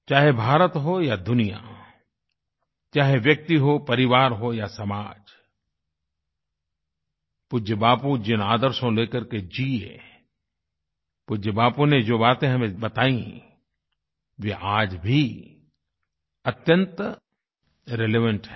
चाहे भारत हो या दुनिया चाहे व्यक्ति हो परिवार हो या समाजपूज्य बापू जिन आदर्शों को ले करके जिए पूज्य बापू ने जो बातें हमें बताई वे आज भी अत्यंत रिलेवेंट हैं